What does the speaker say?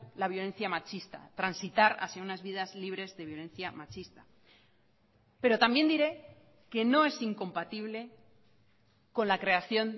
la violencia machista transitar hacia unas vidas libres de violencia machista pero también diré que no es incompatible con la creación